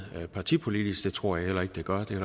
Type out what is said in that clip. partipolitisk det tror jeg heller ikke det gør det er